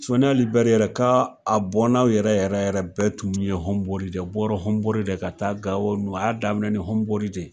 Soni Ali Bɛri yɛrɛ k'a bɔnnaw yɛrɛ yɛrɛ yɛrɛ bɛɛ tun ɲɔgɔn mɔri tɛ bɔra Hɔnbori de ka taa Gawo nunnu. A y'a daminɛ Hɔnbori de.